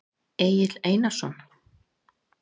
Egill Einarsson?